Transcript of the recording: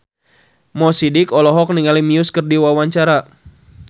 Mo Sidik olohok ningali Muse keur diwawancara